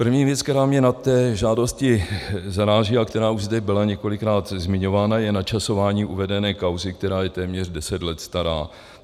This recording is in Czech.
První věc, která mě na té žádosti zaráží a která už zde byla několikrát zmiňována, je načasování uvedené kauzy, která je téměř deset let stará.